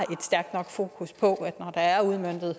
stærkt nok fokus på at når der er udmøntet